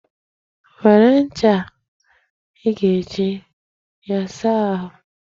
Were ncha a, ị ga-eji ya saa Uche ahụ.